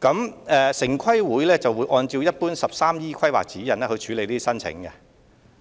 請，城規會會按 "13E 規劃指引"處理這些申請。